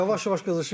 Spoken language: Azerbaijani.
Yavaş-yavaş qızışırıq.